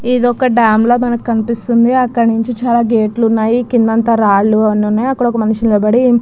ఇది ఒక డ్యామ్ లాగా మనకు కనిపిస్తుంది. అక్కడి నుంచి చాలా గేట్లు ఉన్నాయి కింద అంత రాళ్లు ఉన్నాయి. అక్కడ ఒక మనిషి నిలబడి --